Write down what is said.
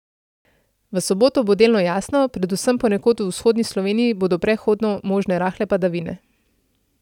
V soboto bo delno jasno, predvsem ponekod v vzhodni Sloveniji bodo prehodno možne rahle padavine.